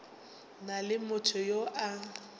na le motho yo a